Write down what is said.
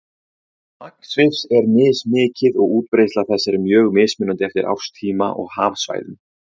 Magn svifs er mismikið og útbreiðsla þess er mjög mismunandi eftir árstíma og hafsvæðum.